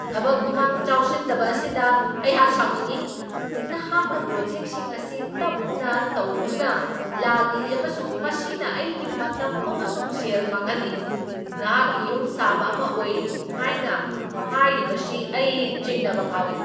ꯊꯕꯛ ꯈꯨꯃꯥꯡ ꯆꯥꯎꯁꯤꯟꯗꯕ ꯑꯁꯤꯗ ꯑꯩꯍꯥꯛ ꯁꯥꯎꯅꯤꯡꯢ ꯫ ꯅꯍꯥꯛꯅ ꯄ꯭ꯔꯣꯖꯦꯛꯁꯤꯡ ꯑꯁꯤ ꯇꯞꯅ ꯇꯧꯗꯨꯅ ꯂꯥꯛꯂꯤ ꯑꯃꯁꯨꯡ ꯃꯁꯤꯅ ꯑꯩꯒꯤ ꯃꯇꯝ ꯑꯃꯁꯨꯡ ꯁꯦꯜ ꯃꯥꯡꯍꯜꯂꯤ, ꯅꯍꯥꯛꯀꯤ ꯌꯨꯝꯁꯥꯕ ꯑꯃ ꯑꯣꯏ ꯍꯥꯏꯅ ꯍꯥꯏꯔꯤꯕꯁꯤ ꯑꯩ ꯆꯤꯡꯅꯕ ꯐꯥꯎꯏ꯫